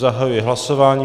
Zahajuji hlasování.